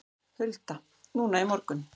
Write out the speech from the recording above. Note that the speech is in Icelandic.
Hulda: Núna í morgun?